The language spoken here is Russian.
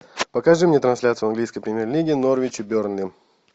покажи мне трансляцию английской премьер лиги норвич и бернли